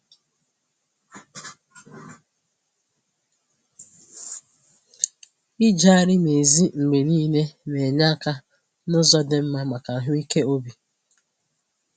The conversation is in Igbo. Ijegharị n'èzí mgbe niile na-enye aka n'ụzọ dị mma maka ahụike obi